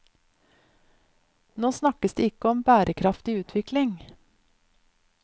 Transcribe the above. Nå snakkes det ikke om bærekraftig utvikling.